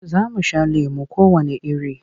Za mu sha lemo kowanne iri.